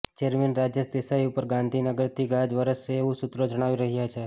chairman Rajesh Desai ઉપર ગાંધીનગરથી ગાજ વરસશે એવું સૂત્રો જણાવી રહ્યા છે